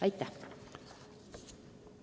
Aitäh!